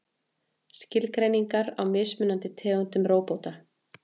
Skilgreiningar á mismunandi tegundum róbóta.